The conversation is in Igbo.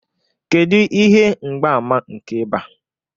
Kedu ihe mgbaàmà nke ịba?